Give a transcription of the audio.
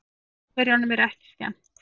Pólverjunum er ekki skemmt.